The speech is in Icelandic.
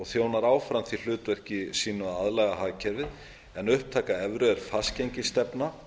þjónar áfram því hlutverki sínu að aðlaga hagkerfið en upptaka evru er fastgengisstefna